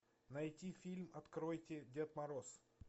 найти фильм откройте дед мороз